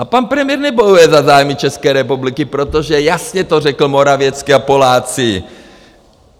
A pan premiér nebojuje za zájmy České republiky, protože jasně to řekl Morawiecki a Poláci.